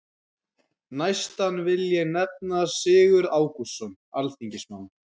Næstan vil ég nefna Sigurð Ágústsson alþingismann.